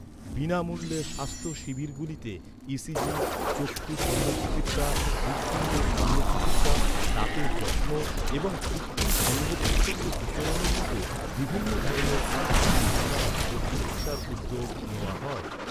বিনামূল্যে স্বাস্থ্য শিবিরগুলিতে ই.সি.জি, চক্ষু শল্যচিকিৎসা, হৃৎপিণ্ডের শল্যচিকিৎসা, দাঁতের যত্ন এবং কৃত্রিম অঙ্গপ্রত্যঙ্গ বিতরণের মতো বিভিন্ন ধরনের পরীক্ষা নিরীক্ষা ও চিকিৎসার উদ্যোগ নেওয়া হয়।